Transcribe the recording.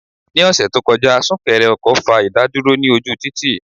Ní ọ̀sẹ̀ tó kọjá, súnkẹrẹ ọkọ̀ fa ìdádúró ní ojú títì.